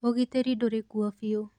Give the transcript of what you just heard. ũgitĩri ndũrĩ kuo biu.